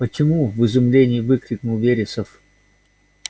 почему в изумлении выкрикнул вересов